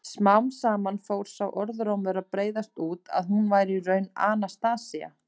Smám saman fór sá orðrómur að breiðast út að hún væri í raun Anastasía.